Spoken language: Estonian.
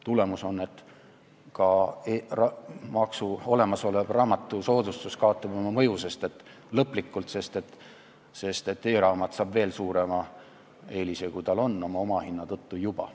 Tulemus on see, et ka olemasolev raamatusoodustus kaotab lõplikult oma mõju, sest e-raamat saab veel suurema eelise, kui tal seni on juba omahinna tõttu olnud.